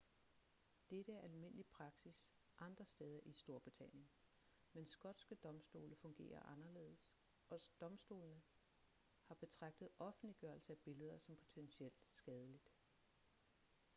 dette er almindelig praksis andre steder i storbritannien men skotske domstole fungerer anderledes og domstolene har betragtet offentliggørelse af billeder som potentielt skadeligt